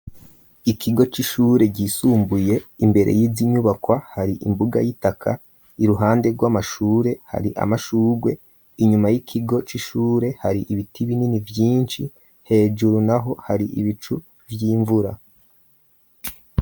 Ikigo c'ishure ryisumbuye imbere yizi nyubakwa hari imbuga yitaka iruhande rwamashure hari amashugwe inyuma y'ikigo c'ishure hari ibiti binini vyinshi hejuru naho hari ibicu vy'imvura.